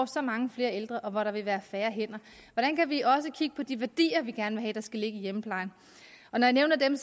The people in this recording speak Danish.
så mange flere ældre og hvor der vil være færre hænder hvordan kan vi også kigge på de værdier vi gerne vil have skal ligge i hjemmeplejen når jeg nævner dem